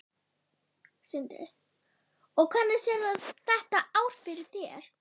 Sindri: Og hvernig sérðu þetta ár fyrir þér?